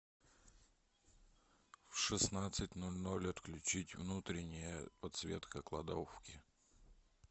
в шестнадцать ноль ноль отключить внутренняя подсветка кладовки